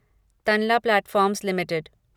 Tanla platforms limited